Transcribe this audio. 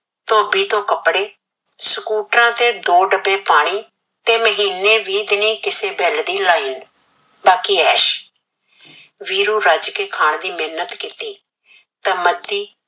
ਟੋਬੀ ਤੋ ਕਪੜੇ ਸਕੂਟਰ ਤੇ ਦੋ ਡਬੇ ਪਾਣੀ ਤੇ ਮਹੀਨੇ ਵੀ ਦਿਨ ਕਿਸੇ ਬਿਲ ਦੀ ਲਾਇਲ ਬਾਕੀ ਏਸ਼ ਵੀਰੂ ਰਜ ਕੇ ਖਾਨ ਦੀ ਮਿਨਤ ਕੀਤੀ ਤਾ ਮਤੀ